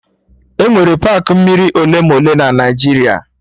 Enwere paakị mmiri ole ma ole na Naijiria